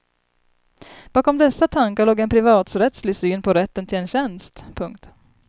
Bakom dessa tankar låg en privaträttslig syn på rätten till en tjänst. punkt